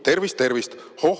Tervist-tervist!